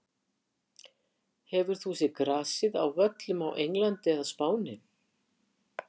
Hefur þú séð grasið á völlum á Englandi eða Spáni?